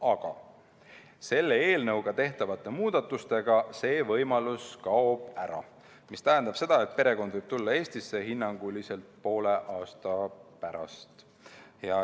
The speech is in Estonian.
Aga selles eelnõus tehtavate muudatustega see võimalus kaob ära, mis tähendab, et perekond võib tulla Eestisse hinnanguliselt poole aasta pärast.